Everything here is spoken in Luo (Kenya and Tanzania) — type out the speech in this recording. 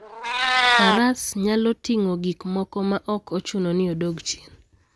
Faras nyalo ting'o gik moko maok ochuno ni odog chien.